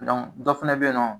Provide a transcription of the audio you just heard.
Dɔnku dɔ fɛnɛ be yen nɔ